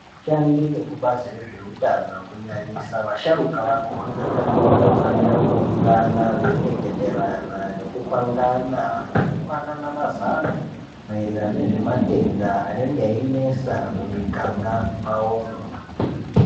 Vashandi vekubazi rezveutano kunyanyisa vasharukwa vakona vanofanira kuungana vaireketerana nekupangana nekupanana mazano maererano ngezvematenda anenge ayinesa mumuganga mwavomwo .